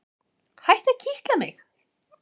Hættu að kitla mig.